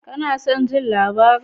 Ka na son jin labarin?